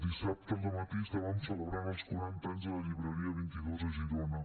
dissabte al dematí estàvem celebrant els quaranta anys de la llibreria vint dos a girona